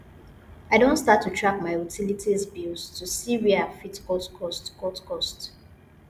i don start to track my utilities bills to see where i fit cut costs cut costs